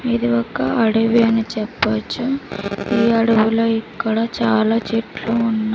ఇది ఒక అడవి అని చెప్పొచ్చు ఈ అడవిలో ఇక్కడ చాలా చెట్లు ఉన్నా --